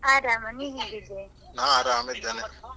ಆರಾಮ, ನೀ ಹೇಗಿದ್ದೆ?